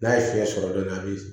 N'a ye fiɲɛ sɔrɔ dɔɔnin a bi